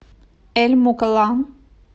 эль мукалла